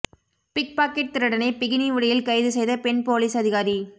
pickpocket திருடனை bikini உடையில் கைது செய்த பெண் போலீஸ் அதிகாரி